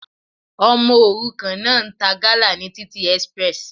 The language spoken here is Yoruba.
Ọmọ òrukàn náà ń ta gala ní títì express.